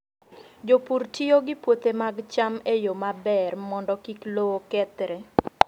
Jopur tiyo gi puothe mag cham e yo maber mondo kik lowo kethre.